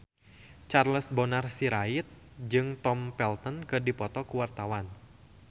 Charles Bonar Sirait jeung Tom Felton keur dipoto ku wartawan